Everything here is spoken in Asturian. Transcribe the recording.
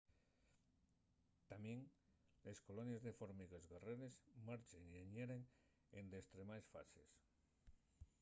tamién les colonies de formigues guerreres marchen y añeren en destremaes fases